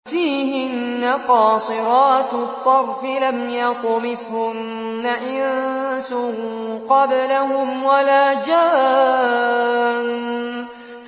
فِيهِنَّ قَاصِرَاتُ الطَّرْفِ لَمْ يَطْمِثْهُنَّ إِنسٌ قَبْلَهُمْ وَلَا جَانٌّ